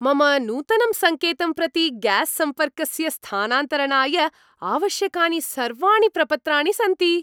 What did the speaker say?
मम नूतनं सङ्केतं प्रति ग्यास् सम्पर्कस्य स्थानान्तरणाय आवश्यकानि सर्वाणि प्रपत्राणि सन्ति।